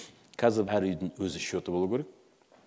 қазір әр үйдің өз шоты болуы керек